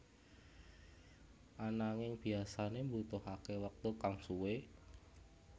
Ananinging biasane mbutuhake wektu kang suwe